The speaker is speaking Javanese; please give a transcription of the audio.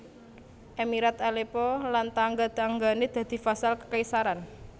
Emirat Aleppo lan tangga tanggané dadi vassal kekaisaran